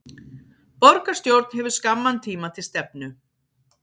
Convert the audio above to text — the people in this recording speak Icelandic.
Borgarstjórn hefur skamman tíma til stefnu